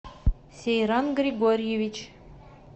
сейран григорьевич